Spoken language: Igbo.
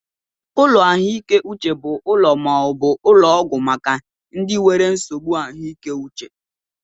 Ụlọ ahụike Uche bu úlò maaobu ụlọ ọgwụ maka ndị nwere nsogbụ ahụike uche.